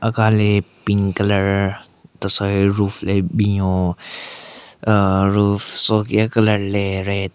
Aka le pink colour tesoi roof le binyon ahh roof soki a-colour le red .